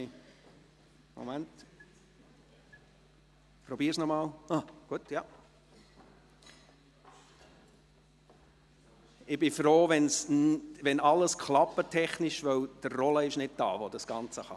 Ich bin froh, wenn technisch alles klappt, da Roland Schneeberger, der das Ganze beherrscht, nicht hier ist.